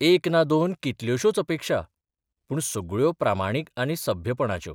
एक ना दोन, कितल्योश्योच अपेक्षा पूण सगळ्यो प्रामाणीक आनी सभ्यपणाच्यो.